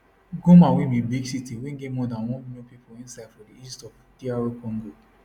goma wey be big city wey get more dan one million pipo inside for di east of dr congo